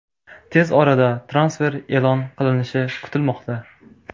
Tez orada transfer e’lon qilinishi kutilmoqda.